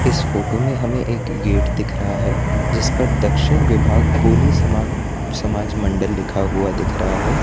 इस फोटो में हमें एक गेट दिख रहा है जिस पर दक्षिण विभाग कोली समाग समाज मंडल लिखा हुआ दिख रहा है।